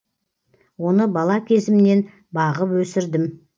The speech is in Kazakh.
оны бала кезімнен бағып өсірдім